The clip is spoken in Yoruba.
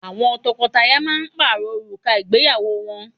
Àwọn tọkọtaya máa ń pààrọ̀ òrùka ìgbéyàwó wọn